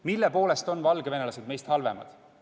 Mille poolest on valgevenelased meist halvemad?